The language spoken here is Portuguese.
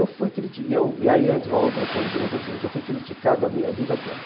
E fui cri aí entra uma outra coisa também, que é o seguinte, eu fui criticado a minha vida toda.